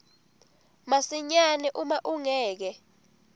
masinyane uma ungeke